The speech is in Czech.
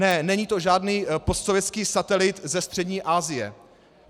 Ne, není to žádný postsovětský satelit ze Střední Asie.